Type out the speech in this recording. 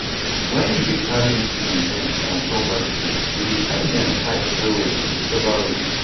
when you dey carry implement dem for on top bicycle we dey tie dem tight well well with rubber robe